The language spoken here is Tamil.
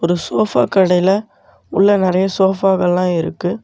ஒரு சோஃபா கடைல உள்ள நறையா சோஃபாகல்லா இருக்கு.